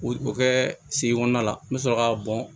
O kɛ segu kɔnɔna la n bɛ sɔrɔ k'a bɔn